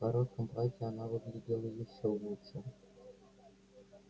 в коротком платье она выглядела ещё лучше